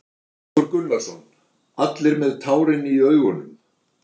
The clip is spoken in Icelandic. Hafþór Gunnarsson: Allir með tárin í augunum?